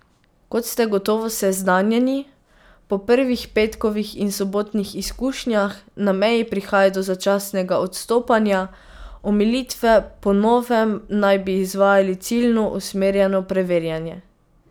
Kot ste gotovo seznanjeni, po prvih petkovih in sobotnih izkušnjah na meji prihaja do začasnega odstopanja, omilitve, po novem naj bi izvajali ciljno usmerjeno preverjanje.